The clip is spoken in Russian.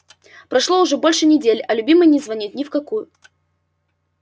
прошло уже больше недели а любимый не звонит ни в какую